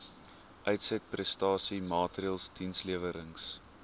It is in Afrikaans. uitsetprestasie maatreëls dienslewerings